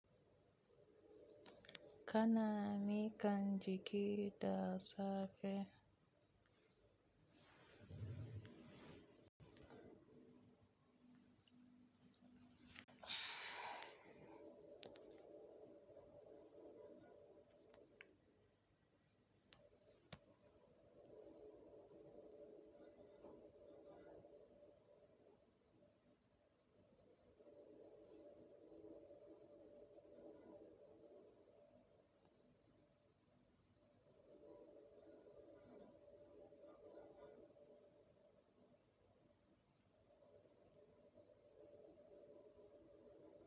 Kana ni kan jiki da safe.